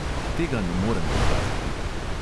Tega ne morem dokazati.